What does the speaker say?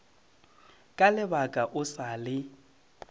ka lebala o sa le